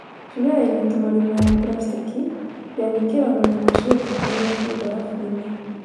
Turee ĩna tũmarima ya buracitĩki: ya gwĩkĩragwo nyama cia ngũkũ rĩrĩa ciĩ mbarabu-inĩ.